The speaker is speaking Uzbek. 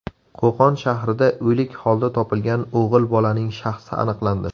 Qo‘qon shahrida o‘lik holda topilgan o‘g‘il bolaning shaxsi aniqlandi.